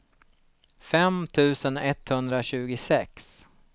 fem tusen etthundratjugosex